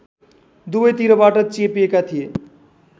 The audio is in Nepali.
दुवैतिरबाट चेपिएका थिए